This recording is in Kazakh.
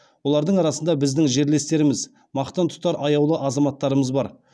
олардың арасында біздің жерлестеріміз мақтан тұтар аяулы азаматтарымыз бар